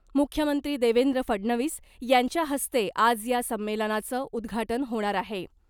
मुख्यमंत्री देवेंद्र फडणवीस यांच्या हस्ते आज या संमेलनाचं उद्घाटन होणार आहे .